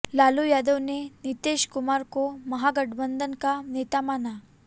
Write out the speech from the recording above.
लालू यादव ने नीतीश कुमार को महागठबंधन का नेता माना